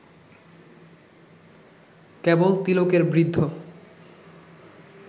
কেবল তিলকের বৃদ্ধ